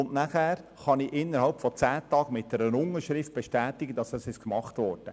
Danach kann ich innerhalb von zehn Tagen mit einer Unterschrift bestätigen, dass der Mangel behoben wurde.